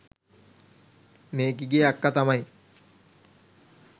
මේකිගේ අක්කා තමයි